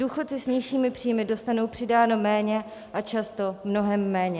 Důchodci s nižšími příjmy dostanou přidáno méně a často mnohem méně.